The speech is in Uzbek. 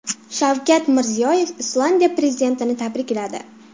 Shavkat Mirziyoyev Islandiya prezidentini tabrikladi.